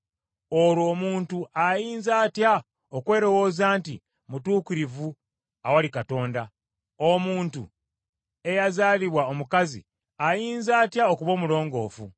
Olwo omuntu ayinza atya okwelowooza nti mutuukirivu awali Katonda? Omuntu eyazaalibwa omukazi ayinza atya okuba omulongoofu?